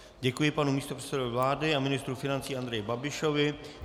Děkuji panu místopředsedovi vlády a ministru financí Andreji Babišovi.